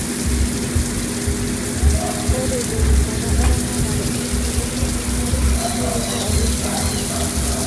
orete rishata eramatare oo nkukuni enkare neilepua oleng te kenya